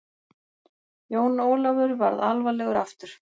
Jón Ólafur varð alvarlegur aftur.